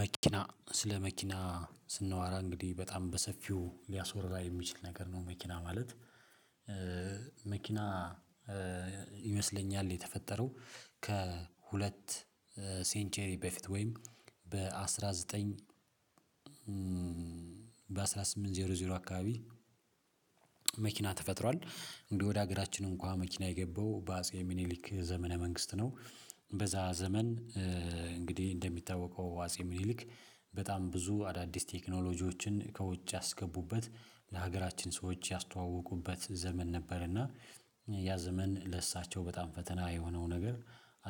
መኪና ስለ መኪና ስናወራ እንግዲህ በጣም በሰፊው ሊያስወራ የሚችል ነገር ነው መኪና ማለት። መኪና ይመስለኛል የተፈጠረው ከሁለት 'ሴንቸሪ' በፊት ወይም በአሥራ ዘጠኝ በአንድ ሺህ ስምንት መቶ አካባቢ መኪና ተፈጥሯል። እንግዲህ ወደ ሀገራችን እንኳን መኪና የገባው በአጼ ሚኒሊክ ዘመነ መንግስት ነው። በዛ ዘመን እንግዲህ እንደሚታወቀው አጼ ሚኒሊክ በጣም ብዙ አዳዲስ ቴክኖሎጂዎችን ከውጭ ያስገቡበት ለሀገራችን ሰዎች ያስተዋወቁበት ዘመን ነበር። እና ያ ዘመን ለእሳቸው በጣም ፈተና የሆነው ነገር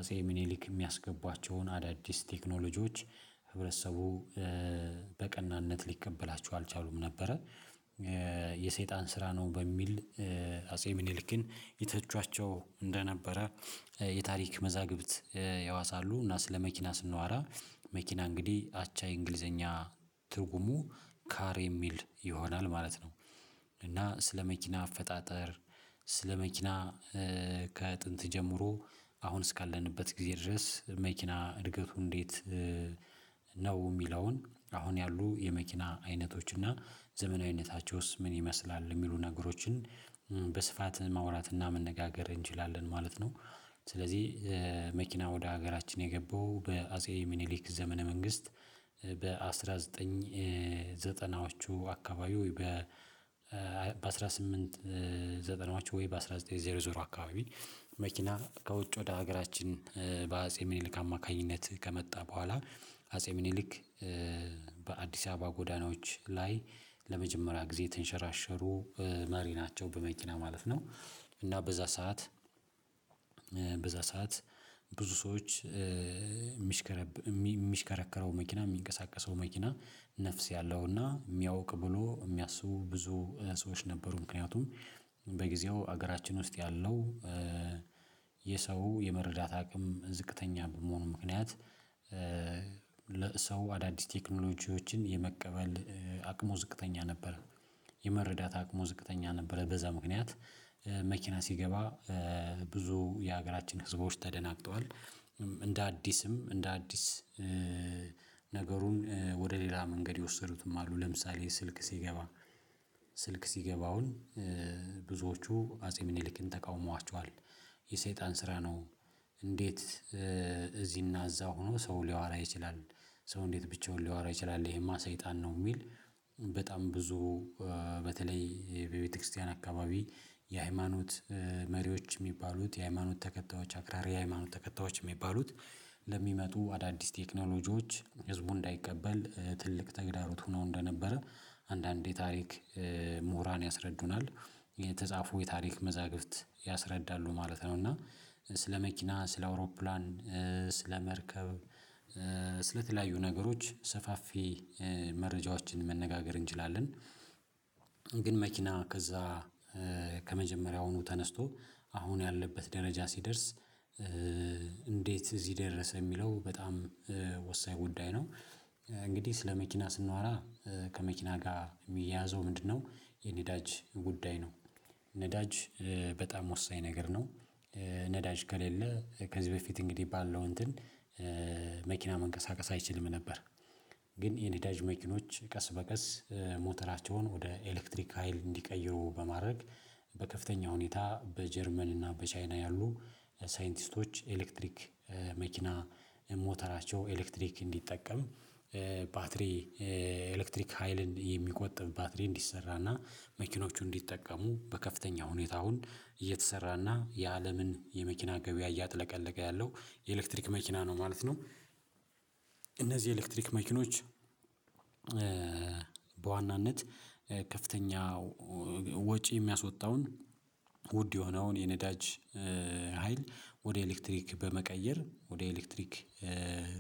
አፄ ምኒሊክ የሚያስገቧቸውን አዳዲስ ቴክኖሎጂዎች ህብረተሰቡ በቀናነት ሊቀበሏቸው አልቻሉም ነበረ። የሰይጣን ስራ ነው በሚል አጼ ምኒልክን የተቿቸው እንደነበረ የታሪክ መዛግብት ያወሳሉ። እና ስለ መኪና ስናወራ መኪና እንግዲህ አቻ የእንግሊዘኛ ትርጉሙ 'ካር' የሚል ይሆናል ማለት ነው። እና ስለ መኪና አፈጣጠር ስለ መኪና ከጥንት ጀምሮ አሁን እስካለንበት ጊዜ ድረስ መኪና እድገቱ እንዴት ነው የሚለውን አሁን ያሉ የመኪና አይነቶች እና ዘመናዊነታቸውስ ምን ይመስላል የሚሉ ነገሮችን በስፋት ማውራት እና መነጋገር እንችላለን ማለት ነው። ስለዚህ መኪና ወደ ሀገራችን የገባው በአጼ ሚኒሊክ ዘመነ መንግስት በአንድ ሺህ ዘጠኝ መቶ ዘጠናዎቹ አካባቢ ወይ በአንድ ሺህ ስምንት መቶ ዘጠና ወይ በአንድ ሺህ ዘጠኝ መቶ አካባቢ መኪና ከውጭ ወደ ሀገራችን በአጼ ምኒልክ አማካኝነት ከመጣ በኋላ አጼ ምኒልክ በአዲስ አበባ ጎዳናዎች ላይ ለመጀመሪያ ጊዜ የተንሸራሸሩ መሪ ናቸው በመኪና ማለት ነው። እና በዛ ሰዓት በዛ ሰዓት ብዙ ሰዎች የሚሽከረከረው መኪና የሚንቀሳቀሰው መኪና ነፍስ ያለውና የሚያውቅ ብሎ የሚያስቡ ብዙ ሰዎች ነበሩ። ምክንያቱም በጊዜው ሀገራችን ውስጥ ያለው የሰው የመረዳት አቅምም ዝቅተኛ በመሆኑ ምክንያት ሰው አዳዲስ ቴክኖሎጂዎችን የመቀበል አቅሙ ዝቅተኛ ነበረ የመረዳት አቅሙ ዝቅተኛ ነበረ። በዛ ምክንያት መኪና ሲገባ ብዙ የሀገራችን ህዝቦች ተደናግጠዋል። እንደ አዲስም እንደ አዲስ ነገሩን ወደ ሌላ መንገድ የወሰዱትም አሉ። ለምሳሌ ስልክ ሲገባ ስልክ ሲገባ አሁን ብዙዎቹ አጼ ሚኒሊክን ተቃውሟቸዋል የሰይጣን ስራ ነው። እንዴት እዚህና እዛ ሆኖ ሰው ሊያወራ ይችላል። ሰው እንዴት ብቻውን ሊያወራ ይችላል። ይሄማ ሰይጣን ነው። የሚል በጣም ብዙ በተለይ በቤተክርስቲያን አካባቢ የሃይማኖት መሪዎች የሚባሉት የሃይማኖት ተከታዮች አክራሪ የሃይማኖት ተከታዮች የሚባሉት ለሚመጡ አዳዲስ ቴክኖሎጂዎች ህዝቡ እንዳይቀበል ትልቅ ተግዳሮት ሆነው እንደነበረ አንድአንድ የታሪክ ምሁራን ያስረዱናል። የተጻፈው የታሪክ መዛግብት ያስረዳሉ ማለት ነው። እና ስለ መኪና፣ ስለ አውሮፕላን፣ ስለ መርከብ ስለተለያዩ ነገሮች ሰፋፊ መረጃዎችን መነጋገር እንችላለን። ግን መኪና ከዛ ከመጀመሪያውኑ ተነስቶ አሁን ያለበት ደረጃ ሲደርስ እንዴት እዚህ ደረሰ የሚለው በጣም ወሳኝ ጉዳይ ነው። እንግዲህ ስለ መኪና ስናወራ ከመኪና ጋር የሚያያዘው ምንድነው የነዳጅ ጉዳይ ነው ነዳጅ በጣም ወሳኝ ነገር ነው። ነዳጅ ከሌለ ከዚህ በፊት እንግዲህ ባለው እንትን መኪና መንቀሳቀስ አይችልም ነበር። ግን የነዳጅ መኪኖዎች ቀስ በቀስ ሞተራቸውን ወደ ኤሌክትሪክ ሀይል እንዲቀይሩ በማድረግ በከፍተኛ ሁኔታ በጀርመን እና በቻይና ያሉ ሳይንቲስቶች ኤሌክትሪክ መኪና ሞተራቸው ኤሌክትሪክ እንዲጠቀም ባትሪ ኤሌክትሪክ ሀይልን የሚቆጥብ ባትሪ እንዲሰራ እና መኪኖቹ እንዲጠቀሙ በከፍተኛ ሁኔታ አሁን እየተሰራ እና የአለምን የመኪና ገበያ እያጥለቀለቀ ያለው የኤሌክትሪክ መኪና ነው ማለት ነው። እነዚህ የኤሌክትሪክ መኪኖች በዋናነት ከፍተኛ ወጪ የሚያስወጣውን ውድ የሆነውን የነዳጅ ሀይል ወደ ኤሌክትሪክ በመቀየር ወደ ኤሌክትሪክ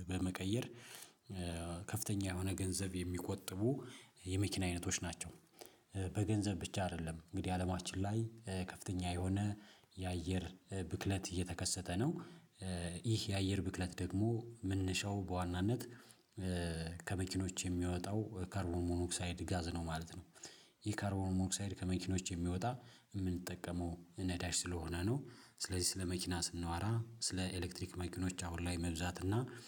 በመቀየር ከፍተኛ የሆነ ገንዘብ የሚቆጥቡ የመኪና አይነቶች ናቸው። በገንዘብ ብቻ አይደለም። እንግዲህ አለማችን ላይ ከፍተኛ የሆነ የአየር ብክለት እየተከሰተ ነው። ይህ የአየር ብክለት ደግሞ ምንሻው በዋናነት ከመኪኖች የሚወጣው ከርቦን ሞኖኦክሳይድ ጋዝ ነው ማለት ነው። ይህ ካርቦን ሞኖኦክሳይድ ከመኪኖች የሚወጣ የምንጠቀመው ነዳጅ ስለሆነ ነው። ስለዚህ ስለ መኪና ስንዋራ ስለ ኤሌክትሪክ ማኪኖች አሁን ላይ መብዛት እና